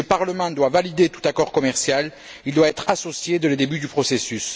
Si le Parlement doit valider tout accord commercial, il doit être associé dès le début du processus.